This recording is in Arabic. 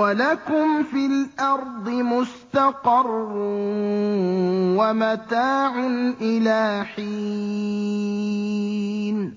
وَلَكُمْ فِي الْأَرْضِ مُسْتَقَرٌّ وَمَتَاعٌ إِلَىٰ حِينٍ